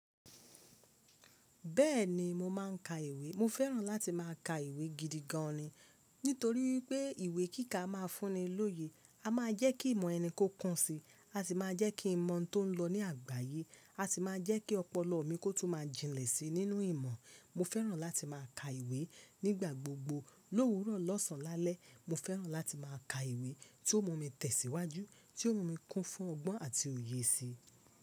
Bẹ́ẹ̀ni mo máà ń ka ìwé. Mo fẹ́ràn láti má a ka ìwé gidi gan ni. Nítorí pé ìwé kíkà a'ma fún ni lóye. A máa jẹ́ kí ìmọ̀ ẹni kó kún si. A sì máa jẹ́ kí n mọ̀ tó ń lọ ní àgbáyé. A sì máa jẹ́ kí ọpọlọ mi kó tún má jìnlẹ̀ sí nínú ìmọ̀. Mo fẹ́ràn láti má a ka ìwé nígbà gbogbo. Lówúrọ̀ lọ́sàn lálẹ́. Mo fẹ́ràn láti má a ka ìwé tí ó mú mi tẹ̀síwájú, tí ó mú mi kún fún ọgbọ́n àti òye sí.